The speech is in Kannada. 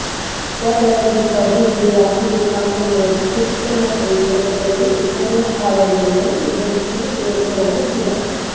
ವರ್ಣರಂಜಿತ ಹೂ ಬಿಡುವ ಇದು ಸಾಮಾನ್ಯವಾಗಿ ಉದ್ಯಾನ ಕೈತೋಟಗಳಲ್ಲಿ ಮನೆಯ ಆವರಣಗಳಲ್ಲಿ ಬೆಳೆಸಲು ಯೋಗ್ಯವಾದ ಗಿಡ